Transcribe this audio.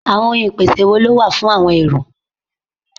Àwọn ohun ìpèsè wo ló wà fún àọn èrò?